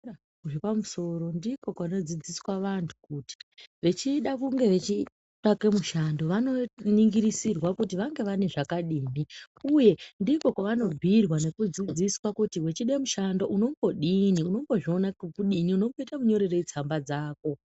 ....zvepamusoro ndiko kunodzidziswa vantu kuti vechida kunge vechitsvake mushando vanoningirisirwa kuti vange vane zvakadini uye ndiko kwavanobhuirwa nekudzidziswa kuti wechida mushando unombodini, unombozviona ngokudini, unomboita munyorerei tsamba dzako.